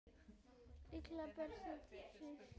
illu pretta táli